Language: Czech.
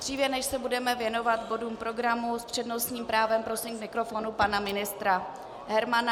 Dříve než se budeme věnovat bodům programu, s přednostním právem prosím k mikrofonu pana ministra Hermana.